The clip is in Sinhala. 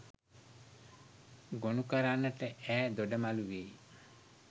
ගොනුකරන්නට ඈ දොඩමළු වෙයි